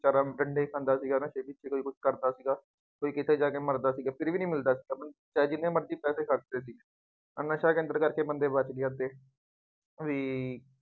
ਖਾਂਦਾ ਸੀਗਾ ਨਾ ਫੇਰ ਹੀ ਉਹ ਕੁੱਛ ਕਰਦਾ ਸੀਗਾ। ਕੋਈ ਕਿਤੇ ਜਾ ਕੇ ਮਰਦਾ ਸੀ, ਨਹੀਂ ਮਿਲਦਾ ਸੀਗਾ ਕੋਈ, ਚਾਹੇ ਜਿੱਥੇ ਮਰਜ਼ੀ ਪੈਸੇ ਖਰਚ ਲਏ। ਨਸ਼ਾ ਕੇਂਦਰ ਕਰਕੇ ਬੰਦੇ ਬੱਚ ਗਏ ਅੱਧੇ ਬਈ